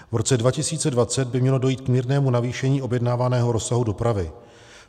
V roce 2020 by mělo dojít k mírnému navýšení objednávaného rozsahu dopravy.